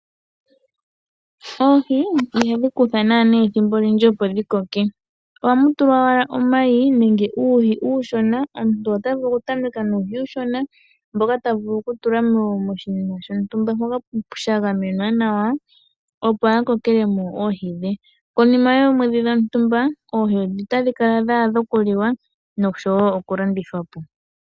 Oohi, ihadhi kutha naana ethimbo olindji opo dhi koke. Ohamu tulwa omayi nenge uuhi uushona, omuntu ota vulu okutameka nuuhi uushona mboka ta vulu kutula moshinima shontumba sha gamenwa nawa opo a kokele mo oohi dhe. Konima yoomwedhi dhontumba oohi otadhi kala dha adha okuliwa nosho wo okulandithwa po.